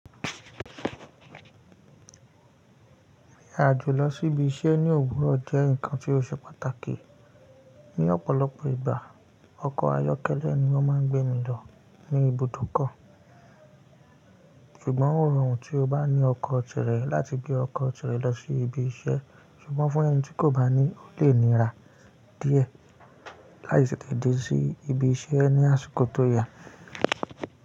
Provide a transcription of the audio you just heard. Rí àjò lọ sí ibi iṣẹ́ ní òwúrọ̀ jẹ́ nǹkan tí ó ṣe pàtàkì. Ní ọ̀pọ̀lọpọ̀ ìgbà ọkọ̀ ayọ́kẹ́lẹ́ ni wọ́n máa ń gbémi lọ ní ibùdókọ̀, ṣùgbọ́n ó rọrùn tí o bá ní ọkọ̀ tirẹ̀ láti gbé ọkọ̀ tirẹ̀ lọ sí ibi iṣẹ́ ṣùgbọ́n fún ẹni tí kò bá ní, ó lè nira díẹ̀ láti tètè dé sí ibi iṣẹ́ ní àsìkò tó yà.